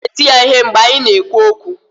Ọ ka na-eti ya ihe mgbe anyị na-ekwu okwu